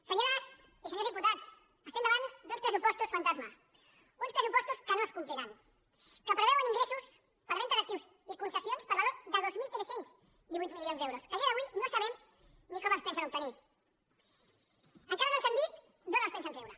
senyores i senyors diputats estem davant d’uns pressupostos fantasma uns pressupostos que no es compliran que preveuen ingressos per venda d’actius i concessions per valor de dos mil tres cents i divuit milions d’euros que a dia d’avui no sabem ni com els pensen obtenir encara no ens han dit d’on els pensen treure